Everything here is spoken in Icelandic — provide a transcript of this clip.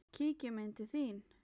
Kíkjum inn til þín